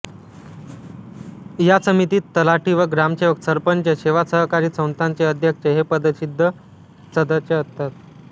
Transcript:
या समितीत तलाठी व ग्रामसेवक सरपंच सेवा सहकारी संस्थांचे अध्यक्ष हे पदसिद्ध सदस्य असतात